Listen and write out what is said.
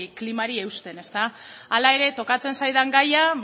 klimari eusten hala ere tokatzen zaidan gaia